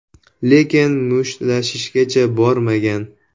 Lekin mushtlashishgacha bormagan.